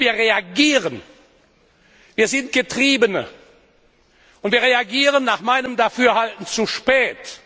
Nur, wir reagieren, wir sind Getriebene, und wir reagieren nach meinem Dafürhalten zu spät!